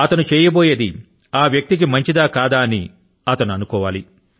అతను చేయబోయే కార్యం ఆ వ్యక్తి కి మంచిది కాదా అని అతను అనుకోవాలి